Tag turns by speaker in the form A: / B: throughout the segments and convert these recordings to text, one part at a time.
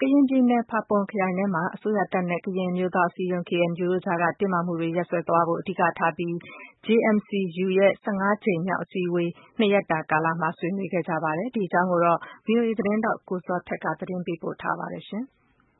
A: ကရင်ပြည်နယ် ဖာပွန်ခရိုင်ထဲမှာ တပ်မတော်နဲ့ ကရင်အမျိုးသား အစည်းအရုံး တို့အကြား ဖြစ်ပွားနေတဲ့ တင်းမာမှုတွေရပ်စဲသွားဖို့ အဓိကထားပြီး JMC-U ရဲ့ ကြိမ်မြောက် အစည်းအဝေး နှစ်ရက်တာကာလမှာ ဆွေးနွေးခဲ့ကြပါတယ်။ ဒီအကြောင်းကို ဗွီအိုအေ သတင်းထောက် ကိုဇော်ထက်က ပေးပို့ထားပါတယ်။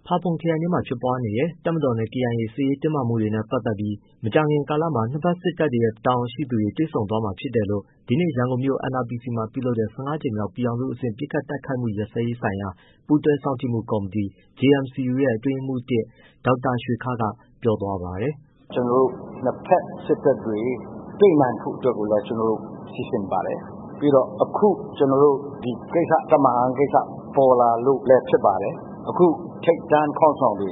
A: ဖာပွန်ခရိုင် ထဲမှာ ဖြစ်ပွားနေတဲ့ တပ်မတော်နဲ့ ကေအိုင်အေ စစ်ရေးတင်းမာမှုတွေနဲ့ ပတ်သတ်ပြီး မကြာခင်ကာလမှာ နှစ်ဖက်စစ်တပ်ရဲ့ တာဝန်ရှိသူတွေ တွေ့ဆုံသွားမှာဖြစ်တယ်လို့ ဒီနေ့ ရန်ကုန်မြို့ NRPC မှာပြုလုပ်တဲ့ ကြိမ်မြောက် ပြည်ထောင်စု အဆင့် ပစ်ခတ် တိုက်ခိုက်မှု ရပ်စဲရေးဆိုင်ရာ ပူးတွဲ စောင့်ကြည့်မှု ကော်မတီ JMC-U ရဲ့ အတွင်းရေးမှုး ဒေါက်တာရွှေခါး က ပြောသွားပါတယ်။
B: “ကျွန်တော်တို့ နှစ်ဘက်စစ်တပ်တွေ တွေ့နိုင်ဖို့ အတွက်ကို ကျွန်တော်တို့ စီစဉ်ပါတယ်။ ပြီးတော့ အခု ကျွန်တော်တို့ ဒီ တပ်မဟာ ကိစ္စ ပေါ်လာလို့လည်း ဖြစ်ပါတယ်။ အခု ထိပ်တန်း ခေါင်းဆောင်တွေ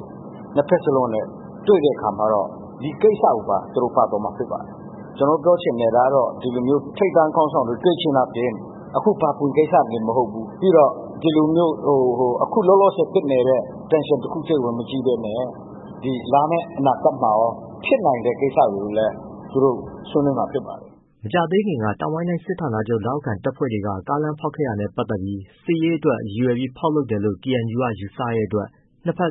B: နှစ်ဘက်စလုံးနဲ့ တွေ့တဲ့အခါမှာတော့ ဒီကိစ္စကိုပါ သူတို့ပါသွားမှာ ဖြစ်ပါတယ်။ ကျွန်တော်ပြောချင်တာက သူတို့ထိပ်တန်း ခေါင်းဆောင်တွေ တွေ့ခြင်းအားဖြင့် အခုဖာပွန်ကိစ္စတင် မဟုတ်ဘူး။ ပြီးတော့ ဒီလိုမျိုး အခု လောလောဆယ် ဖြစ်နေတဲ့ Tension တစ်ခုတည်းကို မကြည့်ဘဲနဲ့ လာမယ့် အနာဂတ်မှာရော ဖြစ်နိုင်မယ့် ကိစ္စတွေကိုလည်း သူတို့ ဆွေးနွေးမှာ ဖြစ်ပါတယ်။
A: ” မကြာသေးခင်က တောင်ပိုင်းတိုင်း စစ်ဌာနချုပ် လက်အောက်ခံတပ်ဖွဲ့တွေက ကားလမ်းဖောက်ခဲ့တာနဲ့ ပတ်သတ်ပြီး စစ်ရေးအတွက် ရည်ရွယ်ပြီး ဖောက်လုပ်တယ်လို့ ကေအန်ယူက ယူဆတဲ့အတွက် နှစ်ဖက်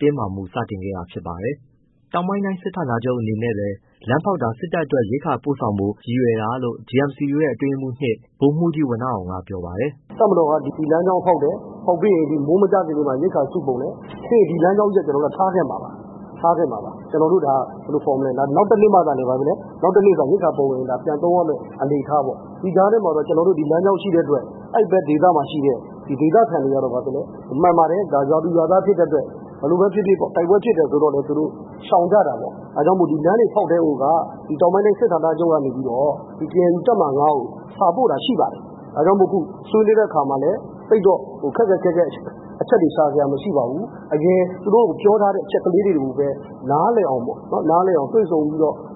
A: တင်းမာမှုတွေ စတင်ခဲ့တာဖြစ်ပါတယ်။ တောင်ပိုင်းတိုင်းစစ်ဌာနချုပ် အနေနဲ့လည်း လမ်းဖောက်ရတာ စစ်တပ်အတွက် ရိက္ခာပို့ဆောင်ဖို့ ရည်ရွယ် တာလို့ JMC-U ရဲ့ အတွင်းရေးမှူး ဗိုလ်မှုးကြီး ဝဏ္ဏအောင်က ပြောပါတယ်
C: ။ “တပ်မတော်က ဒီလမ်းကြောင်းဖောက်တယ်၊ မိုးမကျခင် ရိက္ခာစုပုံတယ်။ ပြီးရင် ဒီလမ်းကြောင်းကြီးက ကျွန်တော်တို့ ထားခဲ့မှာပါ။ နောက်တစ်နှစ်မှ ရိက္ခာပုံမှ ပြန်သုံးရမယ့် အနေအထားပေါ့။ ဒီကြားထဲမှာတော့ ကျွန်တော်တို့ ဒီလမ်းကြောင်း ရှိတဲ့အတွက် အဲဒီဘက် ဒေသမှာရှိတဲ့ ဒေသခံတွေကတော့ မှန်ပါတယ် ရွာသူ ၊ရွာသား ဖြစ်တဲ့အတွက် ဘယ်လိုပဲဖြစ်ဖြစ်ပေါ့ တိုက်ပွဲဖြစ်တယ် ဆိုတော့လည်း သူတို့ ရှောင်ကြတာပေါ့။ ဒါကြောင့် လမ်းတွေ ဖောက်ကတည်းကိုက တောင်ပိုင်းတိုင်း စစ်ဌာနချုပ်ကနေပြီးတော့ ကေအန်ယူ တပ်မဟာ ကို စာပို့တာ ရှိပါတယ်။ ဒါကြောင့်မို့ အခု ဆွေးနွေးတဲ့ အခါမှာလည်း သိပ်တော့ ခက်ခက် ခဲခဲ အချက်တွေ ရှာစရာတော့ မရှိပါဘူး။ အရင် သူတို့ကို ပြောထားတဲ့ အချက်တွေကိုပဲ နားလည်အောင်ပေါ့ တွေ့ဆုံ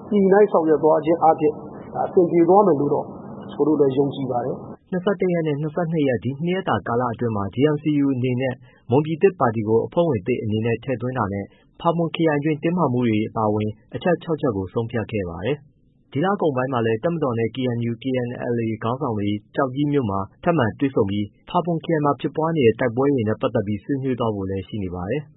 C: ပြီး ညှိနှိုင်း ဆောင်ရွက်သွားခြင်း အားဖြင့် ဒါအဆင်ပြေသွားမယ် လို့တော့ ကိုယ်တို့လည်း ယုံကြည် ပါတယ်။
A: ” ရက်နဲ့ ရက် ဒီနှစ်ရက်တာကာလ အတွင်းမှာ JMC-U အနေနဲ့ မွန်ပြည်သစ်ပါတီကို အဖွဲ့ဝင်သစ် အနေနဲ့ထည့်သွင်းတာနဲ့ ဖာပွန်ခရိုင်တင်းမာမှုတွေ အပါအဝင် အချက် ချက်ကို ဆုံးဖြတ်ခဲ့ပါတယ်။ ဒီလကုန်ပိုင်းမှာလည်း တပ်မတော်နဲ့ KNU/KNLA ခေါင်းဆောင်တွေ ကျောက်ကြီးမြို့မှာ ထပ်မံတွေ့ဆုံပြီး ဖာပွန်ခရိုင်မှာ ဖြစ်နေတဲ့ တိုက်ပွဲတွေနဲ့ ပတ်သတ်ပြီး ဆွေးနွေးသွားဖို့လည်း ရှိနေပါတယ်။